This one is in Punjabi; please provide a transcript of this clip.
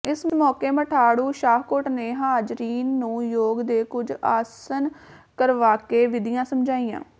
ਇਸ ਮੌਕੇ ਮਠਾੜੂ ਸ਼ਾਹਕੋਟ ਨੇ ਹਾਜ਼ਰੀਨ ਨੂੰ ਯੌਗ ਦੇ ਕੁੱਝ ਆਸਨ ਕਰਵਾਕੇ ਵਿਧੀਆਂ ਸਮਝਾਈਆਂ